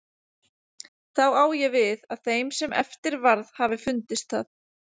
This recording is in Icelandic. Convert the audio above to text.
Þá á ég við, að þeim sem eftir varð hafi fundist það.